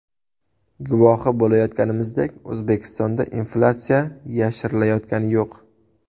Guvohi bo‘layotganimizdek, O‘zbekistonda inflyatsiya yashirilayotgani yo‘q.